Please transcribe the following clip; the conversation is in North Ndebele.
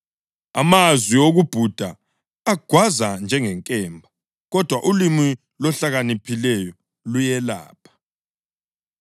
Amazwi okubhuda agwaza njengenkemba, kodwa ulimi lohlakaniphileyo luyelapha.